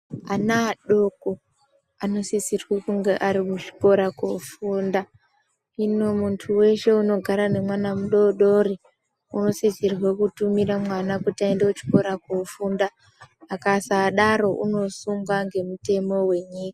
Ana adoko anosisirwe kunge ari kuzvikora koofunda. Hino muntu weshe unogara nemwana mudodori anosisirwe kutumira mwana kuti aende kuchikora koofunda. Akasadaro unosungwa ngemutemo wenyika.